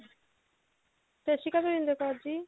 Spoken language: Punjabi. ਸਤਿ ਸ਼੍ਰੀ ਅਕਾਲ ਮਹਿੰਦਰ ਕੋਰ ਜੀ